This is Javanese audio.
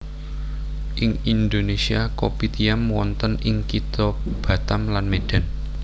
Ing Indonesia kopitiam wonten ing kitha Batam lan Medan